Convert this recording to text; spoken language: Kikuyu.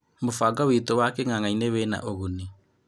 Mũbango witũ wa king'ang'ainĩ wĩna ũguni."